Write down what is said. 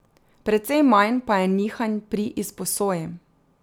Precej manj pa je nihanj pri izposoji.